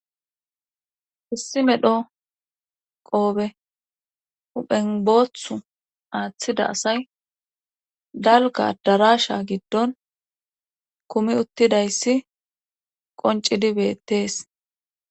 issi medho qoobe uphenbothu aaththida asay dalga darasha giddon kumi uttidayssi qoncidibettees